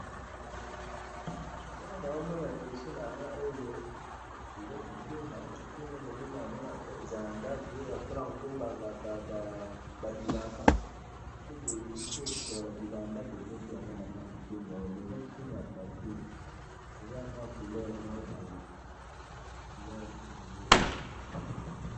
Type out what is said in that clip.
Eloko nazomona liboso na Ngai Oyo, eaa kitunga. Kitunga eza na ndako, eza ya kobomba bilamba, soki bosokoli bilamba, bobombi Yango na kitunga eza kitunga ya plastique. Eza na mwa couleur moko boye. Couleur moko ya rouge